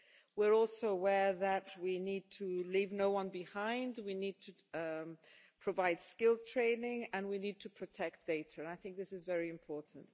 We are also aware that we need to leave no-one behind we need to provide skills training and we need to protect data, and I think this is very important.